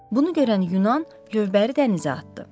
Bunu görən Yunan gövbəri dənizə atdı.